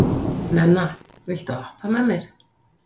Nenna, viltu hoppa með mér?